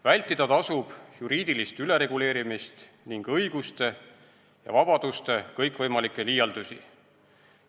Vältida tasub juriidilist ülereguleerimist ning õiguste ja vabaduste kõikvõimalikke liialdusi.